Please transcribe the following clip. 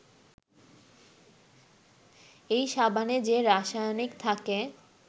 এই সাবানে যে রাসায়নিক থাকে